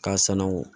K'a sananangu